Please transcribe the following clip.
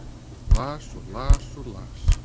Las og las og las.